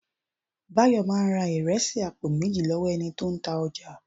Bayo máa ra ìrẹsì àpò méjì lọ́wọ́ ẹni tó ń ta ọjà